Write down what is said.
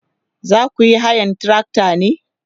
zakuyi hayan trakta ne?